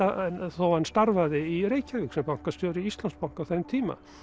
þó hann starfaði í Reykjavík sem bankastjóri Íslandsbanka á þeim tíma